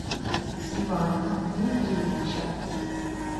ивана дмитриевича